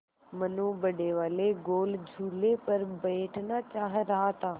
मनु बड़े वाले गोल झूले पर बैठना चाह रहा था